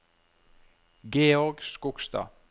Georg Skogstad